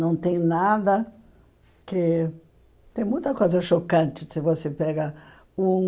Não tem nada que... Tem muita coisa chocante, se você pega um...